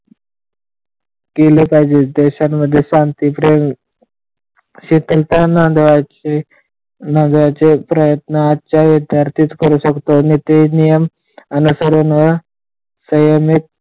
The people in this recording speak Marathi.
केले पाहिजे देशामध्ये शांती राहील शीतलता आण्याचे प्रयत्न विद्यार्थीच करू शकतात आणि ते नियम सर्वाना संयमित केले पाहिजे.